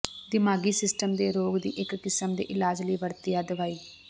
ਦਿਮਾਗੀ ਸਿਸਟਮ ਦੇ ਰੋਗ ਦੀ ਇੱਕ ਕਿਸਮ ਦੇ ਇਲਾਜ ਲਈ ਵਰਤਿਆ ਦਵਾਈ